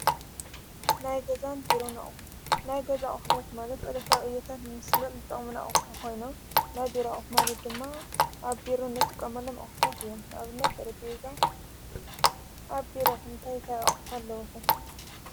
ናይ ገዛን ቢሮናኦ ናይ ገዛ ኣኅዶት ማለት በደ ታውዕየተት ምስለል ልጠምነኣሕኾይኖ ናይ ቢራኦሕ ማለት ድማ ኣብ ቢሮ ነጥ ቀ መለም ኣኅታት እዩም ናብነት ጠረበዛን ኣብ ቢሮኹም እንታይ ኣቕሑ ኣለዉኹም?